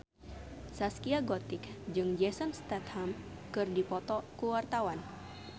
Zaskia Gotik jeung Jason Statham keur dipoto ku wartawan